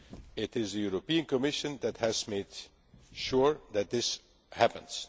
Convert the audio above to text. It is the Commission that has made sure that this happens